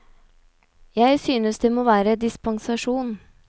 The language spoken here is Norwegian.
Jeg synes det må være dispensasjon.